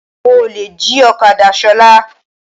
Àwọn olè jí ọ̀kadá Ṣọlá.